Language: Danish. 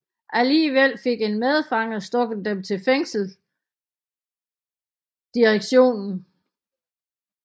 Alligevel fik en medfange stukket dem til fængselsdirektionen